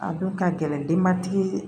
A don ka gɛlɛn denbatigi